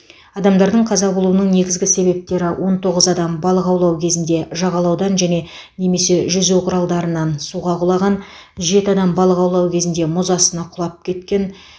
адамдардың қаза болуының негізгі себептері он тоғыз адам балық аулау кезінде жағалаудан және немесе жүзу құралдарынан суға құлаған жеті адам балық аулау кезінде мұз астына құлап кеткен